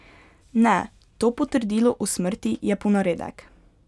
Ne, to potrdilo o smrti je ponaredek.